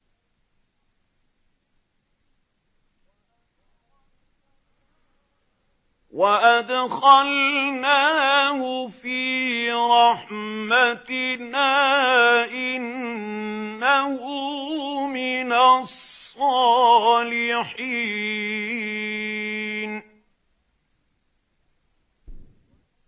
وَأَدْخَلْنَاهُ فِي رَحْمَتِنَا ۖ إِنَّهُ مِنَ الصَّالِحِينَ